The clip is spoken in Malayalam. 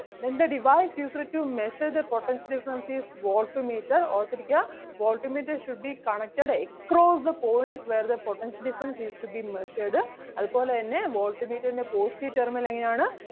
Then the device used to measure the potential difference is volt meter ഓർത്ത് ഇരിക്കുക Volt meter should be connected across the points where the potential difference is to be measured അതുപോലെ തന്നെ volt meter ൻ്റെ positive terminal എങ്ങനെ ആണ്?